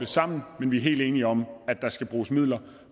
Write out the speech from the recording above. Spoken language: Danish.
sammen men vi er helt enige om at der skal bruges midler